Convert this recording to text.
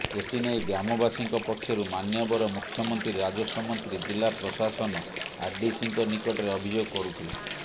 ଏଥିନେଇ ଗ୍ରାମବାସୀଙ୍କ ପକ୍ଷରୁ ମାନ୍ୟବର ମୁଖ୍ୟମନ୍ତ୍ରୀ ରାଜସ୍ୱ ମନ୍ତ୍ରୀ ଜିଲା ପ୍ରଶାସନ ଆରଡିସିଙ୍କ ନିକଟରେ ଅଭିଯୋଗ କରୁଥିଲେ